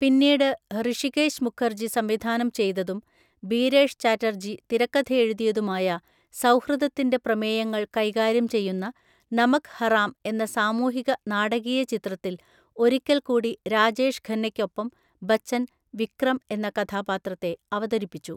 പിന്നീട് ഹൃഷികേശ് മുഖർജി സംവിധാനം ചെയ്തതും ബീരേഷ് ചാറ്റർജി തിരക്കഥയെഴുതിയതുമായ സൗഹൃദത്തിൻ്റെ പ്രമേയങ്ങൾ കൈകാര്യം ചെയ്യുന്ന നമക് ഹറാം എന്ന സാമൂഹിക നാടകീയ ചിത്രത്തിൽ ഒരിക്കൽക്കൂടി രാജേഷ് ഖന്നയ്ക്കൊപ്പം ബച്ചൻ, വിക്രം എന്ന കഥാപാത്രത്തെ അവതരിപ്പിച്ചു.